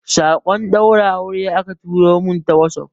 sakon daurin aure aka turo min ta wasof